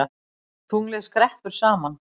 Tunglið skreppur saman